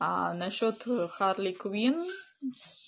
аа на счёт харли квинн